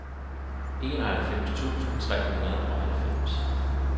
enoghalvfems tusind tre hundrede og halvfems